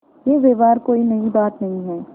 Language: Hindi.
यह व्यवहार कोई नई बात नहीं है